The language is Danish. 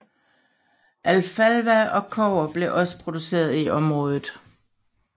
Alfalfa og kobber blev også produceret i området